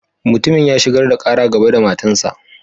Mutumin ya shigar da Kara gaba da matan sa.